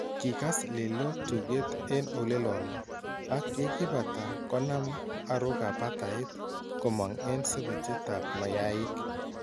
Kikass Lello tukeet en oleloon ak yekiibaata konaam arookab batayit komang en sebetyeetab mayaik